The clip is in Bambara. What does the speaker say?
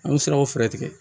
An ye siraw fɛɛrɛ tigɛ